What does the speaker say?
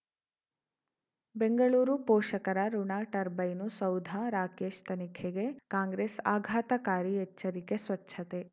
ಬೆಂಗಳೂರು ಪೋಷಕರಋಣ ಟರ್ಬೈನು ಸೌಧ ರಾಕೇಶ್ ತನಿಖೆಗೆ ಕಾಂಗ್ರೆಸ್ ಆಘಾತಕಾರಿ ಎಚ್ಚರಿಕೆ ಸ್ವಚ್ಛತೆ